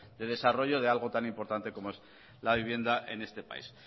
de desarrollo de algo tan importante como es la vivienda en este país